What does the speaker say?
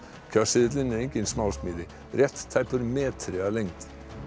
kjörseðillinn er engin smásmíði rétt tæpur metri að lengd